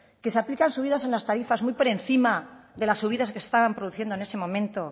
que se aplican subidas en las tarifas muy por encima de las subidas que se estaban produciendo en ese momento